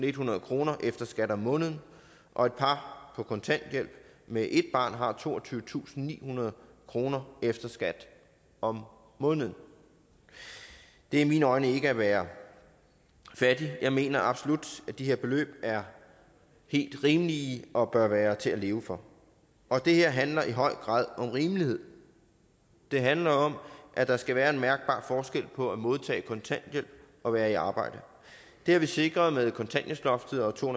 ethundrede kroner efter skat om måneden og et par på kontanthjælp med ét barn har toogtyvetusinde og nihundrede kroner efter skat om måneden det er i mine øjne ikke at være fattig jeg mener absolut at de her beløb er helt rimelige og bør være til at leve for og det her handler i høj grad om rimelighed det handler om at der skal være en mærkbar forskel på at modtage kontanthjælp og være i arbejde det har vi sikret med kontanthjælpsloftet og to